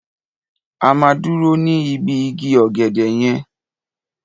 A máa dúró ní ibi igi ọ̀gẹ̀dẹ̀ yẹn.